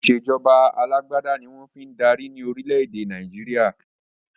Ìsèjọba alàgbàda ní wọ́n fii ń darí ni Orílẹ̀ èdè Nàìjíríà